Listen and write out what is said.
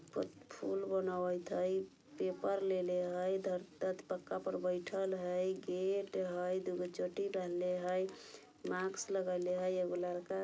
फूल बनावट हई पेपर लेले हई पक्का पे बइठल हई गेट हई दूगो चोटी बांधले हई मास्क लगैले हई एगो लइका --